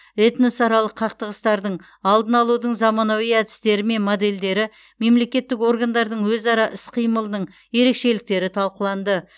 этносаралық қақтығыстардың алдын алудың заманауи әдістері мен модельдері мемлекеттік органдардың өзара іс қимылының ерекшеліктері талқыланды